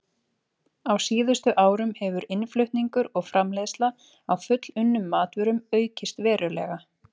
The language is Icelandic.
Á síðustu árum hefur innflutningur og framleiðsla á fullunnum matvörum aukist verulega.